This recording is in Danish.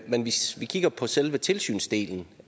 men hvis vi kigger på selve tilsynsdelen